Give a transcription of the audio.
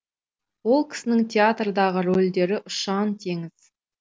ол кісінің театрдағы рөлдері ұшан теңіз